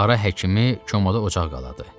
Ara həkimi komada ocaq qaladı.